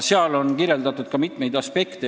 Selles on kirjeldatud mitmeid aspekte.